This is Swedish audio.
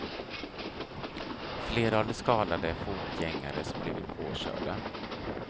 Flera av de skadade är fotgängare som blivit påkörda.